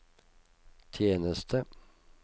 tjeneste